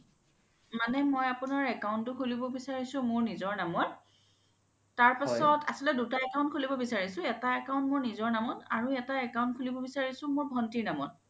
মানে মই আপোনাৰ account তো খুলিব বিচাৰিছো মোৰ নিজৰ নামত তাৰ পিছত আচল্তে দুটা account খুলিব বিচাৰিছো এটা account মোৰ নিজৰ নামত আৰু এটা account খুলিব বিচাৰিছো মোৰ ভন্তিৰ নামত